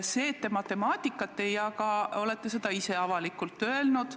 Seda, et te matemaatikat ei jaga, olete ise avalikult öelnud.